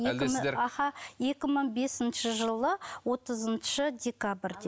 аха екі мың бесінші жылы отызыншы декабрде